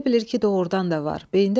Elə bilir ki, doğurdan da var.